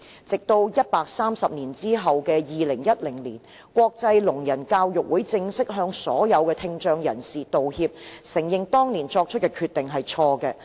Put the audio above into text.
直到130年後的2010年，國際聾人教育會議正式向所有聽障人士道歉，承認當年作出的決定是錯誤的。